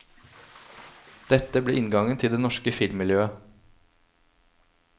Dette ble inngangen til det norske filmmiljøet.